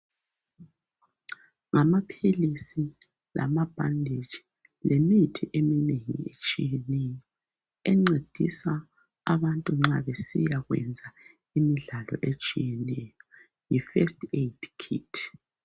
Ngamaphilisi, lamabhanditshi, lemithi eminengi etshiyeneyo encedisa abantu nxa besiyayenza imidlalo etshiyeneyo. Yifirst Aid kit.